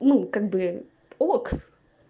ну как бы ок